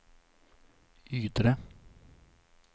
Ydre